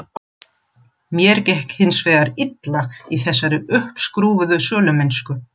Mér gekk hins vegar illa í þessari uppskrúfuðu sölumennsku.